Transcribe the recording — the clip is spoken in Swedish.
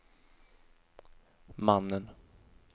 mannen